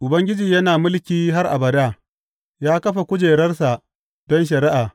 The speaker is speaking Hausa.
Ubangiji yana mulki har abada; ya kafa kujerarsa don shari’a.